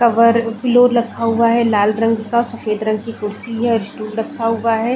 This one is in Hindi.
कवर रखा हुआ है लाल रंग का सफ़ेद रंग की कुर्सी है स्टूल रखा हुआ है।